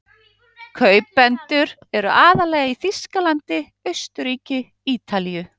Kaupendur eru aðallega í Þýskalandi, Austurríki, Ítalíu